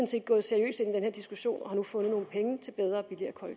set gået seriøst ind i denne diskussion og har nu fundet nogle penge til bedre